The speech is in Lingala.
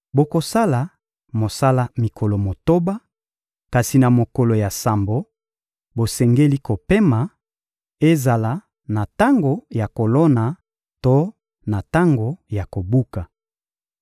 Bokosala mosala mikolo motoba, kasi na mokolo ya sambo, bosengeli kopema: ezala na tango ya kolona to na tango ya kobuka.